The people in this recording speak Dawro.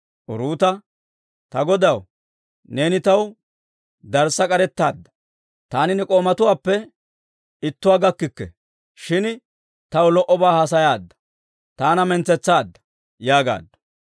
Uruuta, «Ta godaw, neeni taw darssa k'arettaadda; taani ne k'oomatuppe ittuwaa gakkikke, shin taw lo"obaa haasayaade, taana mintsetsaadda» yaagaaddu.